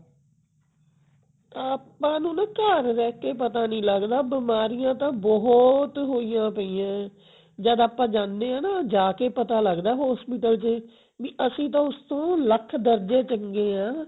ਆਪਾਂ ਨੂੰ ਨਾ ਘਰ ਰਹਿ ਕੇ ਪਤਾ ਨਹੀਂ ਲਗਦਾ ਬਿਮਾਰੀਆਂ ਤਾਂ ਬਹੁਤ ਹੋਈਆਂ ਪਈਆਂ ਜਦ ਆਪਾਂ ਜਾਂਦੇ ਆ ਨਾ ਜਾਕੇ ਪਤਾ ਲਗਦਾ ਵੀ hospital ਚ ਅਸੀਂ ਤਾਂ ਉਸ ਤੋਂ ਲੱਖ ਦਰਜੇ ਚੰਗੇ ਹਾਂ